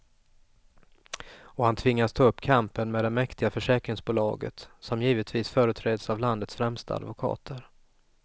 Och han tvingas ta upp kampen med det mäktiga försäkringsbolaget, som givetvis företräds av landets främsta advokater.